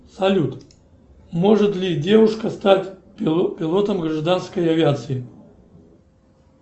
салют может ли девушка стать пилотом гражданской авиации